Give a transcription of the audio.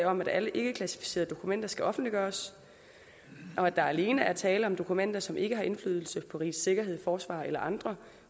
om at alle ikkeklassificerede dokumenter skal offentliggøres der er alene tale om dokumenter som ikke har indflydelse på rigets sikkerhed forsvar eller andre